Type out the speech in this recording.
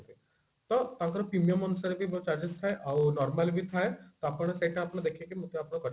ତ ତାଙ୍କର premium ଅନୁସାରେ ବି ବହୁତ charges ଥାଏ ଆଉ normal ବି ଥାଏ ତ ଆପଣ ସେଟା ଆପଣ ଦେଖିକି ମଧ୍ୟ ଆପଣ କରି ପାରିବେ